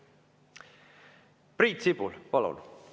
Priit Sibul, palun!